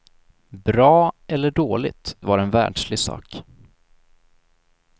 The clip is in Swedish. Bra eller dåligt var en världslig sak.